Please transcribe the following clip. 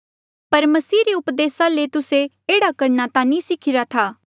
पर मसीह रे उपदेसा ले तुस्से एह्ड़ा करणा ता नी सिखिरा था